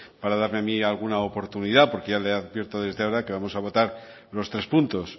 para darme a mí alguna oportunidad porque ya le advierto desde ahora que vamos a votar los tres puntos